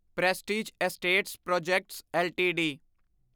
prestige Estates Projects LTD